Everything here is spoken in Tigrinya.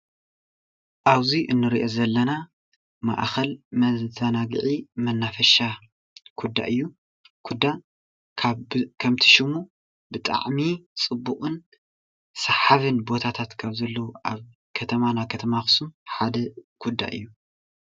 ኣብዚ እንሪኦ ዘለና ማእከል መዛናጊዒ መናፈሻ ኩዳ እዩ፡፡ ኩዳ ካብቲ ከምቲ ሽሙ ብጣዕሚ ፅቡቅን ሳሓቢን ቦታታት ካብ ዘለዉ ኣብ ከተማና ከተማ ኣክሱም ሓደ ኩዳ እዩ፡፡